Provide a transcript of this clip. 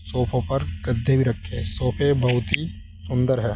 सोफो पर गद्दे भी रखे हैं सोफे बहुत ही सुंदर हैं।